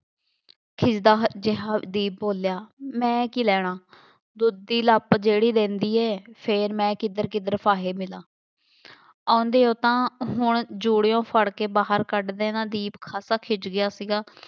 ਖਿੱਝਦਾ ਜਿਹਾ ਦੀਪ ਬੋਲਿਆ, ਮੈਂ ਕੀ ਲੈਣਾ, ਦੁੱਧ ਦੀ ਲੱਪ ਜਿਹੜੀ ਦਿੰਦੀ ਹੈ, ਫੇਰ ਮੈਂ ਕਿੱਧਰ ਕਿੱਧਰ ਫਾਹੇ ਮਿਲਾਂ, ਆਉਂਦੇ ਹੋ ਤਾਂ ਹੁਣ ਜੂੜਿਓਂ ਫੜ੍ਹ ਕੇ ਬਾਹਰ ਕੱਢ ਦੇਣਾ ਦੀਪ ਖਾਸਾ ਖਿੱਝ ਗਿਆ ਸੀਗਾ,